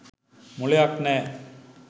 මොළයක් නෑ.